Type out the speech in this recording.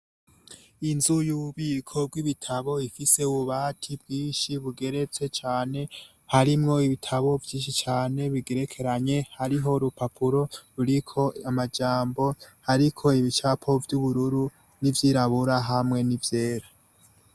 Inzu yububiko bwibitabo ifise ububati bwinshi bugeretswe cane harimwo ibitabo vyishi cane bigerekeranye hariho urupapuro ruriko amajambo harriko ibicapo vy'ubururu, n'ivyirabura hamwe nivyera.